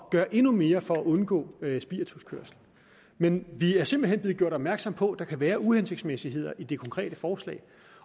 at gøre endnu mere for at undgå spirituskørsel men vi er simpelt hen blevet gjort opmærksom på at der kan være uhensigtsmæssigheder i det konkrete forslag